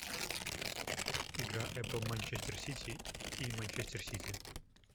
игра апл манчестер сити и манчестер сити